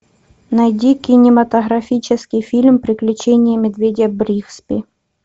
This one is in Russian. найди кинематографический фильм приключения медведя бригсби